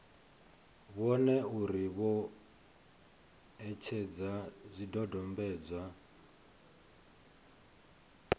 vhone uri vho etshedza zwidodombedzwa